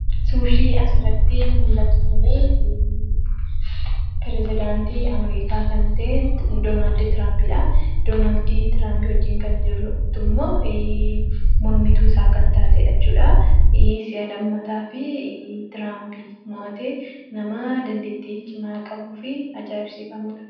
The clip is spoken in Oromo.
Suurri asirratti mul'atu kuni piresidaantii( president) Ameerikaa kan ta'e, Doonaald Tiraampidha. Doonaald Tiraamp wajjin kan jirtu immoo mormituu isaa kan taatedha jechudha. Si'a lammataafi Tiraamp moo'atee, nama dandeettii cimaa qabuu fi ajaa'ibsiifamudha.